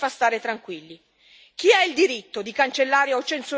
Chi ha il diritto di cancellare o censurare delle informazioni?